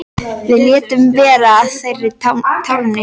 Við létum vera að þerra tárin.